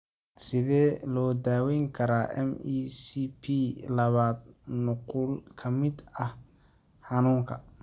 Sidee loo daweyn karaa MECP labaad nuqul ka mid ah xanuunka?